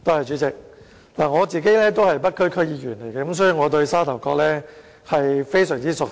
主席，我是北區區議員，所以我對沙頭角非常熟悉。